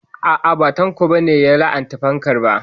A'a ba Tanko ba ne ya la'anta fankar ba